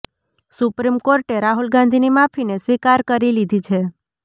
supreme કોર્ટે રાહુલ ગાંધીની માફીને સ્વીકાર કરી લીધી છે